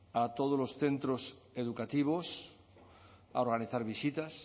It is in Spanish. a todos los centros educativos a organizar visitas